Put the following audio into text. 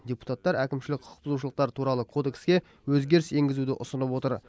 депутаттар әкімшілік құқықбұзушылықтар туралы кодекске өзгеріс енгізуді ұсынып отыр